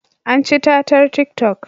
An ci tatar tik toc